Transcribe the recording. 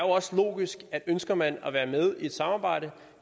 også logisk at ønsker man at være med i et samarbejde